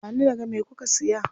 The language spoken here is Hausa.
Ba ni naga me kuka siya.